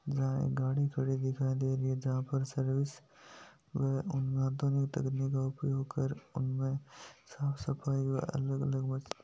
यहाँ गाड़ी दिखाई दे रही है जहा पे सर्विस आधुनिक तकनीक उपयोग कर उनमे साफ सफाई और अलग अलग --